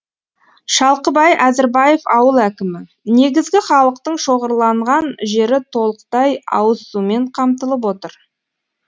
шалқыбай әзірбаев ауыл әкімі негізгі халықтың шоғырланған жері толықтай ауызсумен қамтылып отыр